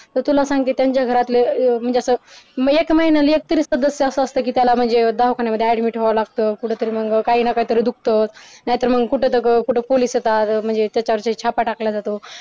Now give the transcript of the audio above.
तर तुला सांगते त्यांच्या घरातले म्हणजे असं म्हणजे एक महिन्याला एक तरी सदस्य असा असतोय कि त्याला म्हणजे दवाखान्यामध्ये admit व्हावं लागत कुठंतरी मग काहींना काही दुखत नाहीतर मग कुठं दंग कुठं पोलीस येतात छापा ताकला जातो त्याच्यावरती